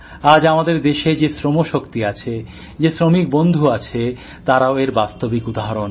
আজ আমাদের দেশের যে শ্রমশক্তি আছে যে শ্রমিক বন্ধু আছে তারাও এর বাস্তবিক উদাহরণ